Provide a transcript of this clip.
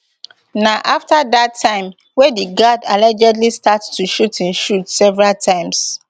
na afta dat time wey di guard allegedly start to shoot im shoot several times